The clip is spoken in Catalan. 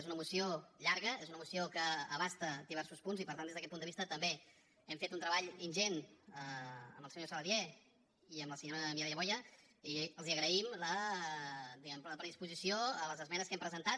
és una moció llarga és una moció que abasta diversos punts i per tant des d’aquest punt de vista també hem fet un treball ingent amb el senyor saladié i amb la senyora mireia boya i els agraïm la predisposició a les esmenes que hem presentat